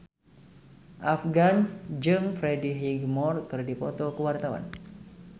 Afgan jeung Freddie Highmore keur dipoto ku wartawan